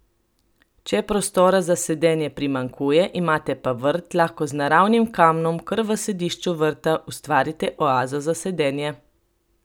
Če prostora za sedenje primanjkuje, imate pa vrt, lahko z naravnim kamnom kar v središču vrta ustvarite oazo za sedenje.